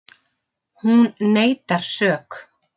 Hún neitar sök